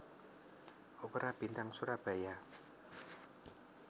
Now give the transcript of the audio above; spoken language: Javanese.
Opera Bintang Surabaya